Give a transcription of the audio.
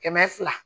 Kɛmɛ fila